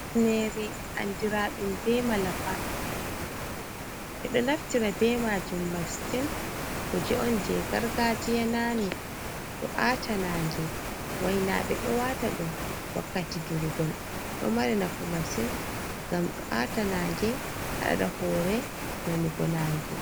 Ɓe ɗo naftira be majum masin, kuje on jei gargaji naane ɗo aata nange, wainaɓe ɗo wata ɗum wakkati durgol ɗo mari nafu masin ngam ɗo aata nange haɗa hoore nanugo nange.